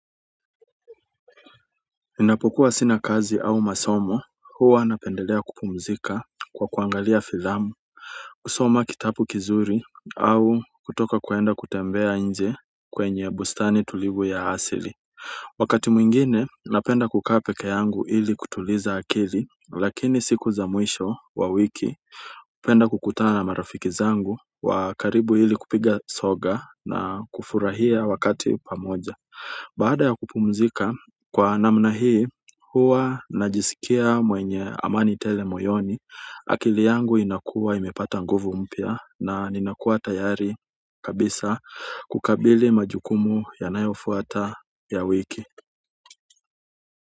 Ninapokuwa sina kazi au masomo huwa napendelea kupumzika kwa kuangalia filamu kusoma kitabu kizuri au kutoka kuenda kutembea nje kwenye bustani tulivu ya asili wakati mwingine napenda kukaa peke yangu ili kutuliza akili lakini siku za mwisho wa wiki penda kukutana na marafiki zangu wa karibu hili kupiga soga na kufurahia wakati pamoja baada ya kupumzika kwa namna hii huwa najisikia mwenye amani tele moyoni akili yangu inakuwa imepata nguvu mpya na ninakuwa tayari kabisa kukabili majukumu yanayofuata ya wiki.